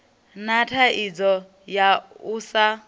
na thaidzo ya u sa